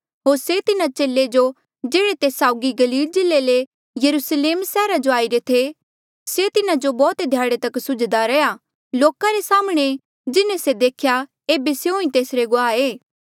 होर से तिन्हा चेले जो जेह्ड़े तेस साउगी गलील जिल्ले ले यरुस्लेम सैहरा जो आईरे थे से तिन्हा जो बौह्त ध्याड़े तक सुझ्दा रैंहयां लोका रे साम्हणें जिन्हें से देखेया एेबे स्यों ही तेसरे गुआह ऐें